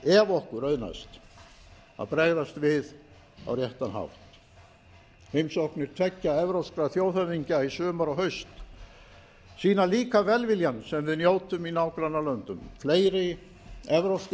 ef okkur auðnast að bregðast við á réttan hátt heimsóknir tveggja evrópskra þjóðhöfðingja í sumar og haust sýna líka velviljann sem við njótum í nágrannalöndum fleiri evrópskir